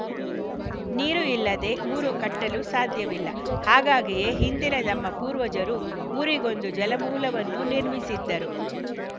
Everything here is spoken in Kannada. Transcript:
ನೀರು ಇಲ್ಲದೆ ಊರು ಕಟ್ಟಲು ಸಾಧ್ಯವಿಲ್ಲ ಹಾಗಾಗಿಯೇ ಹಿಂದಿನ ನಮ್ಮ ಪೂರ್ವಜರು ಊರಿಗೊಂದು ಜಲಮೂಲವನ್ನು ನಿರ್ಮಿಸಿದ್ದರು